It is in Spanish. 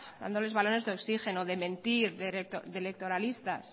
dándoles balones de oxígeno de mentir de electoralistas